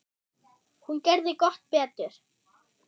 Hún gerði gott betur.